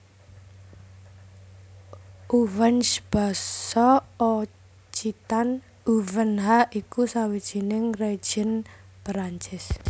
Auvergne basa Occitan Auvèrnha iku sawijining région Perancis